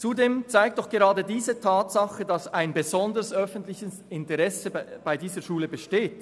Zudem zeigt doch gerade diese Tatsache, dass ein besonderes öffentliches Interesse an dieser Schule besteht.